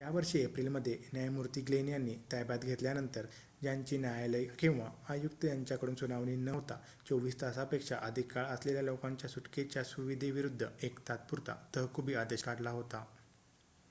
यावर्षी एप्रिल मध्ये न्यायमूर्ती ग्लेन यांनी ताब्यात घेतल्यानंतर ज्यांची न्यायालय किंवा आयुक्त यांच्याकडून सुनावणी न होता 24 तासापेक्षा अधिक काळ असलेल्या लोकांच्या सुटकेच्या सुविधेविरुद्ध एक तात्पुरता तहकुबी आदेश काढला होता